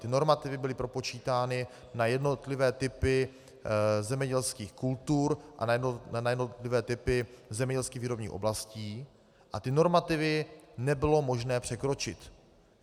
Ty normativy byly propočítány na jednotlivé typy zemědělských kultur a na jednotlivé typy zemědělských výrobních oblastí a ty normativy nebylo možné překročit.